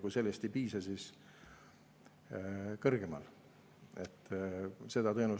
Kui sellest ei piisa, siis kõrgemal.